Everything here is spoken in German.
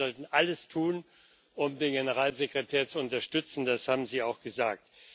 Wir sollten alles tun, um den Generalsekretär zu unterstützen, das haben Sie auch gesagt.